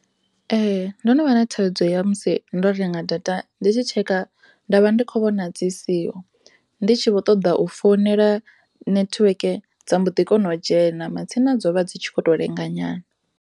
Ee, do no vha na thaidzo musi ndo renga data ndi tshi tsheka ndavha ndi kho vhona dzi siho ndi tshi vho ṱoḓa u founela network dza mbo ḓi kona u dzhena dzone dzo vha dzi tshi khoto lenga nyana.